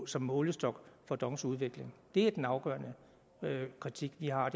som målestok for dongs udvikling det er den afgørende kritik vi har